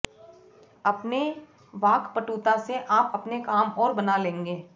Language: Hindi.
अपने वाक्पटुता से आप अपने काम और बना लेंगे